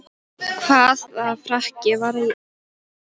Hvaða frakki var í eigu hvers?